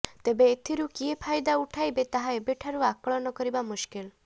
ତେବେ ଏଥିରୁ କିଏ ଫାଇଦା ଉଠାଇବେ ତାହା ଏବେଠାରୁ ଆକଳନ କରିବା ମୁସ୍କିଲ